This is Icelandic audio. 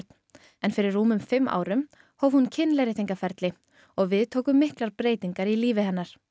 en fyrir rúmum fimm árum hóf hún og við tóku miklar breytingar í lífi hennar